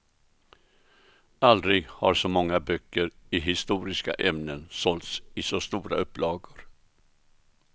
Aldrig har så många böcker i historiska ämnen sålts i så stora upplagor.